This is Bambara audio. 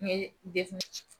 N ye dekun ye